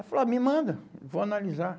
Ela falou, ah, me manda, vou analisar.